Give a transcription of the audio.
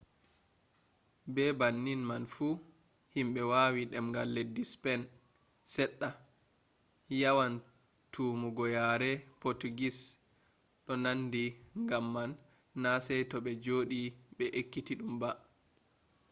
be bannin man fu himɓe wawi demgal leddi spen seɗɗa yawan tammugo yare potugis ɗo nandi gam man na saito ɓe joɗi ɓe ekkitiɗum ba